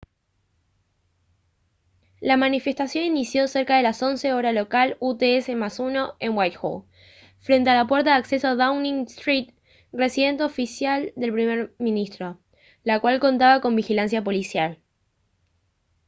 la manifestación inició cerca de las 11:00 hora local utc +1 en whitehall frente a la puerta de acceso a downing street residencia oficial del primer ministro la cual contaba con vigilancia policial